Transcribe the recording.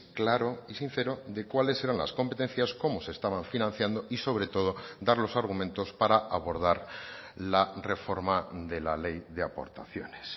claro y sincero de cuáles eran las competencias cómo se estaban financiando y sobre todo dar los argumentos para abordar la reforma de la ley de aportaciones